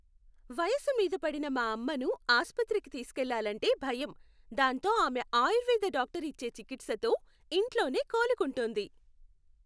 వయసు మీదపడిన మా అమ్మను ఆసుపత్రికి తీసుకెళ్లాలంటే భయం, దాంతో ఆమె ఆయుర్వేద డాక్టర్ ఇచ్చే చికిత్సతో ఇంట్లోనే కోలుకుంటోంది.